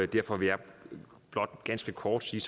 derfor vil jeg blot ganske kort sige